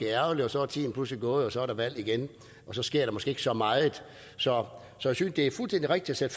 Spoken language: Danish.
ærgerligt og så er tiden pludselig gået og så er der valg igen og så sker der måske ikke så meget så jeg synes det er fuldstændig rigtigt at